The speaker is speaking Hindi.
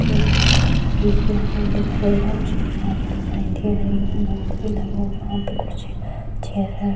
ते एक कांच का गेट भी लगा हुआ दिखाई दे रहा है और चेयर आगे दिखाई दे रहा है बोर्ड भी लगा हुआ है वहां पे कुछ चेयर --